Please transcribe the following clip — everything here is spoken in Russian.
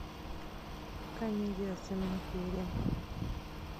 комедия с джимом керри